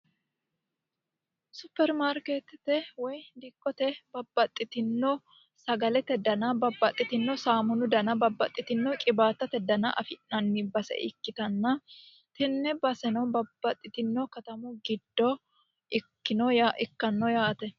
suppermarikeettete woy dikkote babbaxitino sagalete dana babbaxitino saamunu dana babbaxitino qiwaatate dana afi'nanni base ikkitanna tenne baseno babbaxitino katamu giddo ikkanno yaate